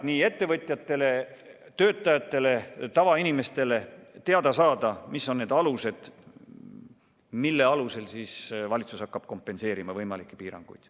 Nii ettevõtjatel, töötajatel kui ka tavainimestel on ääretult vajalik teada, mis alusel valitsus hakkab kompenseerima võimalikke piiranguid.